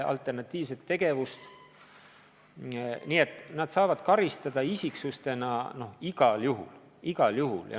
Nii et nad saavad karistada igal juhul.